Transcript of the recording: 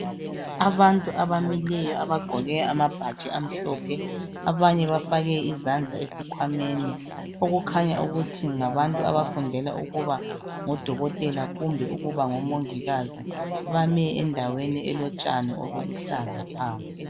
Abantu abamileyo abagqoke amabhatshi amhlophe abanye bafake izandla esikhwameni okukhanya ukuthi ngabantu abafundela ukuba ngodokotela kumbe ukuba ngomongikazi bame endaweni elotshani obuluhlaza phansi.